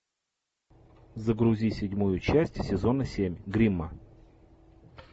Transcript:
загрузи седьмую часть сезона семь гримма